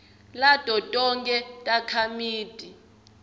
lato tonkhe takhamiti